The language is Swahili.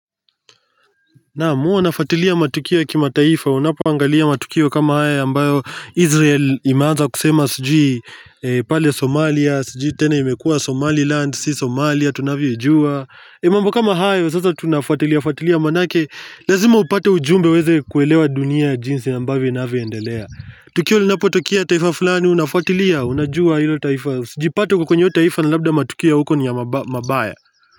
Naam mi huwa nafatilia matukio ya kimataifa, unapoangalia matukio kama haya ambayo Israel imeanza kusema sijiu pale Somalia sijui tena imekua Somaliland si Somalia tunavyoijua. Ni mambo kama hayo sasa tunafatilia fatilia manake, lazima upate ujumbe uweze kuelewa dunia jinsi ambavyo inaavyoendelea. Tukio linapotokea taifa fulani unafatilia, unajua ilo taifa, usijipate uko kwenye hio taifa na labda matukio ya huko ni mabaya.